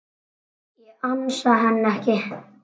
Ég ansa henni ekki.